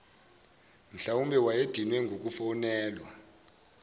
mhlwawumbe wayedinwe ngukufonelwa